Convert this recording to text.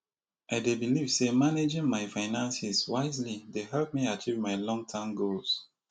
i dey believe say managing my finances wisely dey help me achieve my longterm goals